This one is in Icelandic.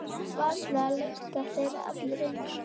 Varla lykta þeir allir eins.